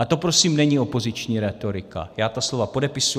A to prosím není opoziční rétorika, já ta slova podepisuji.